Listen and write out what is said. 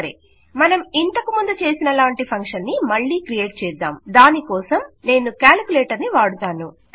సరె మనం ఇంతకుముందు చేసిన లాంటి ఫంక్షన్ ని మళ్ళీ క్రియేట్ చేద్దాం దానికోసం నేను క్యాల్కులేటర్ని వాడుతాను